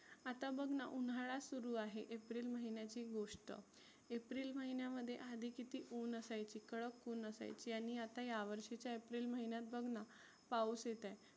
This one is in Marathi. आता बघना उन्हाळा सुरु आहे एप्रिल महिन्याची गोष्ट. एप्रिल महिन्यामध्ये आधी किती ऊन असायची कडक उन असायची आणि ह्या वर्षीच्या एप्रिल महिण्यात बघना पाऊस येत आहे